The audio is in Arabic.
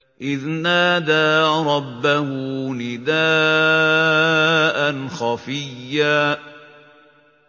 إِذْ نَادَىٰ رَبَّهُ نِدَاءً خَفِيًّا